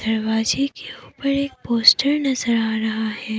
दरवाजे के ऊपर एक पोस्टर नजर आ रहा है।